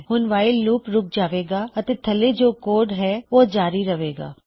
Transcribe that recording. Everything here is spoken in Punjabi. ਹੁਣ ਵਾਈਲ ਲੂਪ ਰੁਕ ਜਾਵੇਗਾ ਅਤੇ ਥੱਲੇ ਜੋ ਕੋਡ ਹੈ ਉਹ ਜਾਰੀ ਰਹੇਗਾ